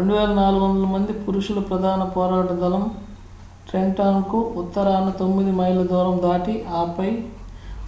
2,400 మంది పురుషుల ప్రధాన పోరాట దళం trenton‌కు ఉత్తరాన తొమ్మిది మైళ్ల దూరం దాటి ఆపై